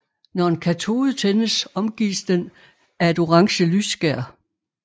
Når en katode tændes omgives den af et orange lysskær